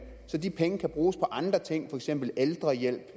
så de penge kan bruges på andre ting for eksempel ældrehjælp